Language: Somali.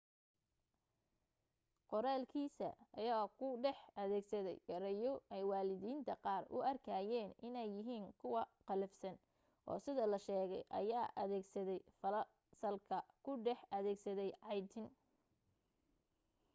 qoraalkiisa ayaa ku dhex adeegsaday ereyo ay waalidiinta qaar u arkayeen inay yihiin kuwa qallafsan oo sida la sheegay ayaa adeegsaday fasalka ku dhex adeegsaday caytin